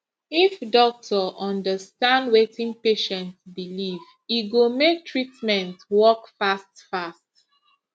if doctor understand wetin patient believe e go make treatment work fast fast